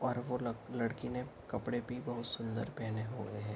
और वो लक लड़की ने कपड़े भी बहुत सुंदर पहने हुए है।